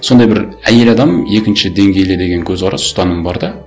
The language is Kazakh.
сондай бір әйел адам екінші деңгейлі деген көзқарас ұстаным бар да